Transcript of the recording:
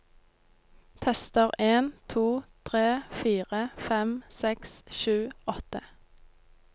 Tester en to tre fire fem seks sju åtte